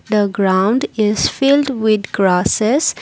the ground is filled with grasses.